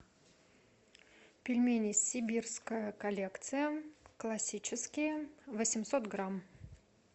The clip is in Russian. пельмени сибирская коллекция классические восемьсот грамм